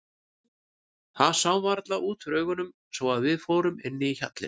Það sá varla út úr augunum svo að við fórum inn í hjallinn.